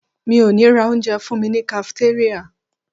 Mi ò ní ra onjẹ ọ̀sán fúnmi ní kafitéríà.